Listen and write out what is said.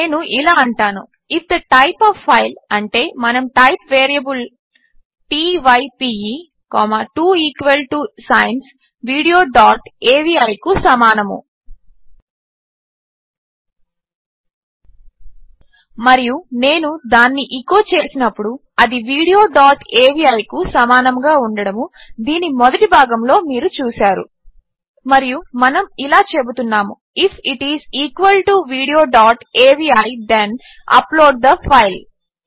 నేను ఇలా అంటాను if the type of file అంటే మన type variable t y p e 2 equal to signs video dot avi కు సమానము మరియు నేను దానిని ఎచో చేసినప్పుడు అది వీడియో డాట్ అవి కు సమానముగా ఉండడము దీని మొదటి భాగములో మీరు చూసారు మరియు మనము ఇలా చెబుతున్నాము if it is equal to video dot avi then upload the file